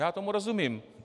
Já tomu rozumím.